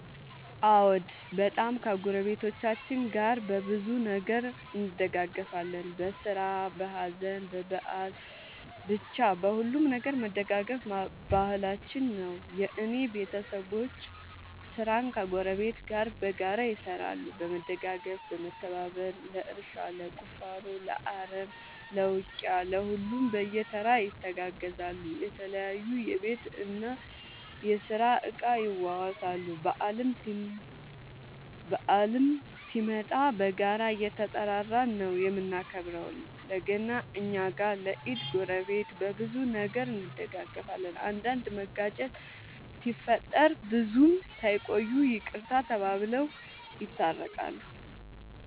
አዎ በጣም ከ ጎረቤቶቻችን ጋር በብዙ ነገር እንደጋገፋለን በስራ በሀዘን በበአል በቻ በሁሉም ነገር መደጋገፍ ባህላችን ነው። የእኔ ቤተሰቦቼ ስራን ከ ጎረቤት ጋር በጋራ ይሰራሉ በመደጋገፍ በመተባበር ለእርሻ ለቁፋሮ ለአረም ለ ውቂያ ለሁሉም በየተራ ይተጋገዛሉ የተለያዩ የቤት እና የስራ እቃ ይዋዋሳሉ። በአልም ሲመጣ በጋራ እየተጠራራን ነው የምናከብረው ለ ገና እኛ ጋ ለ ኢድ ጎረቤት። በብዙ ነገር እንደጋገፋለን። አንዳንድ መጋጨት ሲፈጠር ብዙም ሳይቆዩ ይቅርታ ተባብለው የታረቃሉ።